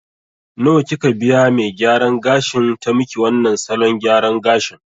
Nawa kika biya me gyaran gashin ta maki wannan salon gyaran gashin